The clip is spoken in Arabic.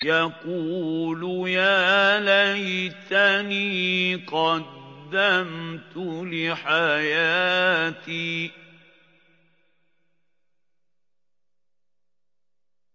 يَقُولُ يَا لَيْتَنِي قَدَّمْتُ لِحَيَاتِي